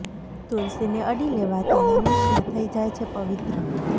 તુલસી ને અડી લેવા થી મનુષ્ય થઈ જાય છે પવિત્ર